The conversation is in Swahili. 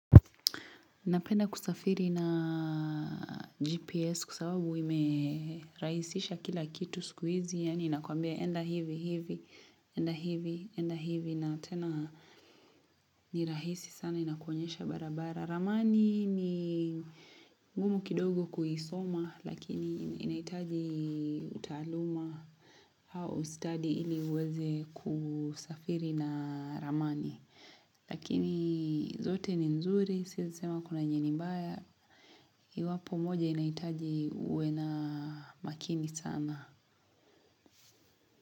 Napenda kusafiri na GPS kwa sababu imerahisisha kila kitu siku hizi. Yaani inakuambia enda hivi, hivi, enda hivi, enda hivi na tena ni rahisi sana inakuonyesha barabara. Ramani ni ngumu kidogo kuisoma lakini inahitaji utaaluma au ustadi ili uweze kusafiri na ramani. Lakini zote ni nzuri, siezi sema kuna yenye ni mbaya Iwapo moja inahitaji ue na makini sana.